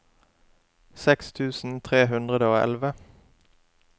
seks tusen tre hundre og elleve